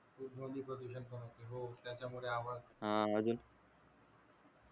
हा अजून